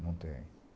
Não tenho.